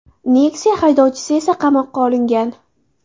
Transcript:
Nexia haydovchisi esa qamoqqa olingan.